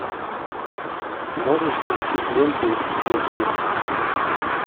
можешь включить ленту детки